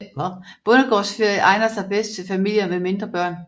Bondegårdsferie egner sig bedst til familier med mindre børn